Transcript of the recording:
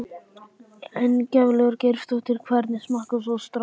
Ingveldur Geirsdóttir: Hvernig smakkast svo strákar?